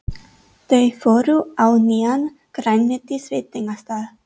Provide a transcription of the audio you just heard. Þau fóru á nýjan grænmetisveitingastað.